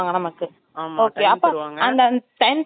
time தந்தது இருந்து two hours ஓ two and hours ஓ